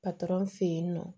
fe yen nɔ